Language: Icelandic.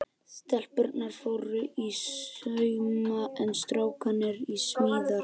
Stelpurnar fóru í sauma en strákarnir í smíðar.